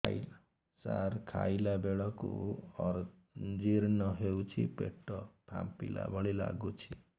ସାର ଖାଇଲା ବେଳକୁ ଅଜିର୍ଣ ହେଉଛି ପେଟ ଫାମ୍ପିଲା ଭଳି ଲଗୁଛି